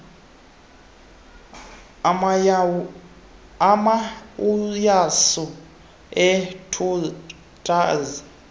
amayauyasu eentunja zetanki